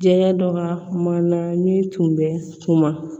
Jɛgɛ dɔ ka kumana min tun bɛ suma